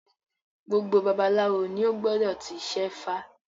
Gbogbo babaláwo ni ó gbọdọ̀ ti ṣẹ́fá